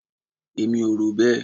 Èmi ò rò bẹ́ẹ̀.